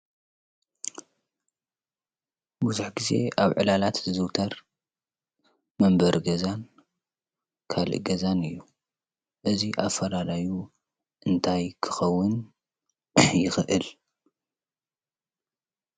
ብዙሕ ግዜ ኣብ ዕላላት ዝዝውተር መንበሪ ገዛን ካሊእ ገዛን እዩ። እዚ ኣፈላላዩ እንታይ ክኸውን ይኽእል?